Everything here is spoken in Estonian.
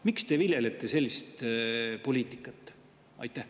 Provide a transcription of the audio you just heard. Miks te viljelete sellist poliitikat?